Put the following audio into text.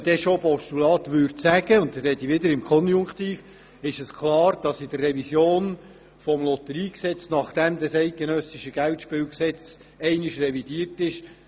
Würde man von einem Postulat reden – und ich spreche wiederum im Konjunktiv –, müsste diese Diskussion im Rahmen der Revision des Lotteriegesetzes wieder geführt werden, nachdem das Bundesgesetz über Geldspiele einmal revidiert ist.